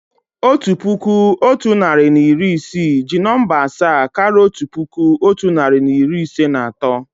Otu puku, otu narị na iri isii jí nọ̀mbà asaa káraà otu puku, otu narị na iri ise na atọ